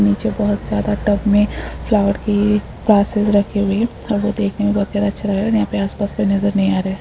नीचे बहुत ज्यादा टब में फ्लॉवर की वासेस रखी हुई हैं और वो देखने में बहुत ही ज्यादा अच्छा लग रहा है और यहाँ पे आस- पास कोई नजर नही आ रहा है।